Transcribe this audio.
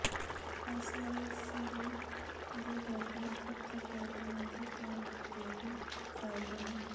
ਇਸ ਲਈ ਸੀਮਿੰਟ ਦੇ ਬਰਤਨਾ ਪੱਥਰ ਬਰਤਨਾ ਦੇ ਤੌਰ ਤੇ ਹੀ ਫਾਇਦੇ ਹਨ